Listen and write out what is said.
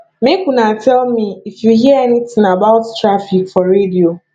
make una tell me if you hear anything about traffic for radio